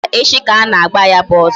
Mba, echi ka ana-agba ya bụ ọsọ